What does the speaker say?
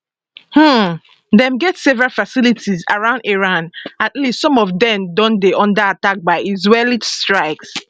um dem get several facilities around iran at least some of dem don dey under attack by israeli strikes